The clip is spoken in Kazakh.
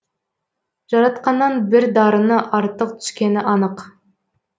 жаратқаннан бір дарыны артық түскені анық